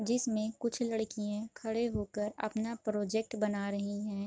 जिसमें कुछ लड़कियाँ खड़े होकर अपना प्रोजेक्ट बना रही हैं |